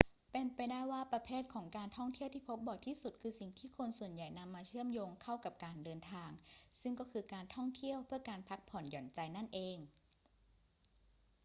เป็นไปได้ว่าประเภทของการท่องเที่ยวที่พบบ่อยที่สุดคือสิ่งที่คนส่วนใหญ่นำมาเชื่อมโยงเข้ากับการเดินทาง ซึ่งก็คือการท่องเที่ยวเพื่อการพักผ่อนหย่อนใจนั่นเอง